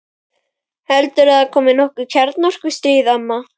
Heldurðu að komi nokkuð kjarnorku- stríð, amma?